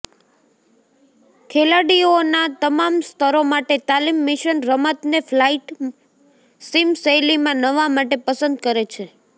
ખેલાડીઓનાં તમામ સ્તરો માટે તાલીમ મિશન રમતને ફ્લાઇટ સિમ શૈલીમાં નવા માટે પસંદ કરે છે